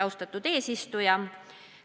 Austatud eesistuja!